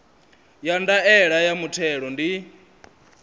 ya ndaela ya muthelo ndi